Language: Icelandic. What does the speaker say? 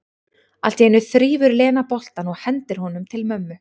Allt í einu þrífur Lena boltann og hendir honum til mömmu.